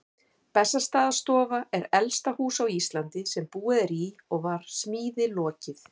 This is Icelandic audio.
Bessastaðastofa er elsta hús á Íslandi sem búið er í og var smíði lokið